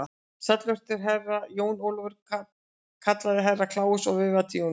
Sæll vertu, Herra Jón Ólafur, kallaði Herra Kláus og veifaði til Jóns Ólafs.